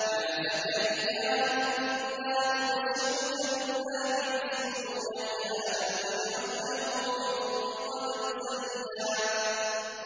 يَا زَكَرِيَّا إِنَّا نُبَشِّرُكَ بِغُلَامٍ اسْمُهُ يَحْيَىٰ لَمْ نَجْعَل لَّهُ مِن قَبْلُ سَمِيًّا